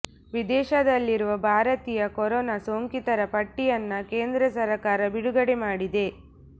ವಿದೇಶದಲ್ಲಿರುವ ಭಾರತೀಯ ಕೊರೋನಾ ಸೋಂಕಿತರ ಪಟ್ಟಿಯನ್ನ ಕೇಂದ್ರ ಸರ್ಕಾರ ಬಿಡುಗಡೆ ಮಾಡಿದೆ